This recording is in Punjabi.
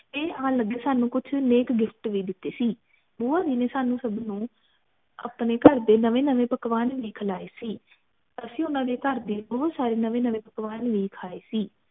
ਤੇ ਆਨ ਲਗੇ ਸਾਨੂ ਨੇਕ gift ਵੀ ਦਿਤੇ ਸੀ ਬੁਆ ਜੀ ਨੇ ਸਾਨੂ ਸਬਨੁ ਆਪਣੇ ਘਰ ਦੇ ਨਵੇਂ ਨਵੇਂ ਪਕਵਾਨ ਵੀ ਖਿਲਾਏ ਸੀ ਅਸੀਂ ਊਨਾ ਦੀ ਘਰ ਦੇ ਬਹੁਤ ਸਾਰੇ ਨਵੇਂ ਨਵੇ ਪਕਵਾਨ ਵੀ ਖਾਏ ਸੀ